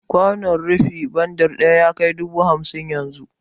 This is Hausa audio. Kwanon rufi bandir ɗaya yakai dubu hamsin yanzu